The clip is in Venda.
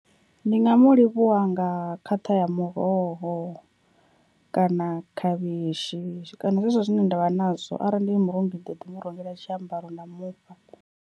Ndi nga mu livhuwa nga khaṱha ya muroho kana khavhishi kana zwezwo zwine ndavha nazwo, arali ndi murungi ndi ḓo ḓi murengela tshiambaro nda mufha.